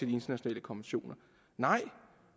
de internationale konventioner nej